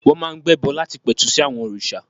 Wọ́n máa ń gbẹ́bọ láti pẹ̀tù sí àwọn òrìṣà.